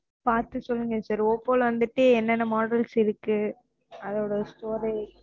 பாத்து சொல்லுங்க siroppo ல வந்துட்டு என்னென்ன models இருக்கு, அதோட storage